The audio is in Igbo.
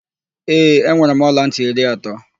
Ee, enwere m ọlantị iri atọ.